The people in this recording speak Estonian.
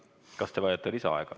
Kas te vajate lisaaega?